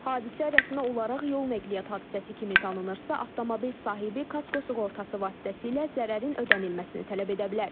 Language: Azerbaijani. Hadisə rəsmi olaraq yol nəqliyyat hadisəsi kimi tanınırsa, avtomobil sahibi kasko sığortası vasitəsilə zərərin ödənilməsini tələb edə bilər.